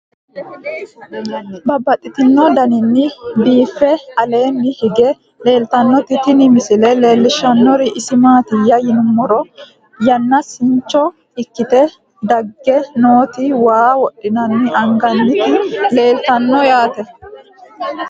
Babaxxittinno daninni biiffe aleenni hige leelittannotti tinni misile lelishshanori isi maattiya yinummoro yanaasincho ikkitte dage nootti waa wodhinne angannitti leelittanno yaatte